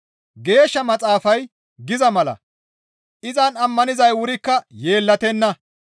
Geeshsha Maxaafay giza mala, «Izan ammanizay wurikka yeellatenna.»